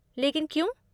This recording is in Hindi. लेकिन क्यों?